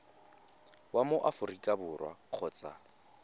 wa mo aforika borwa kgotsa